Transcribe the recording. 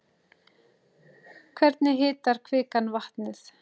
Hvernig hitar kvikan vatnið?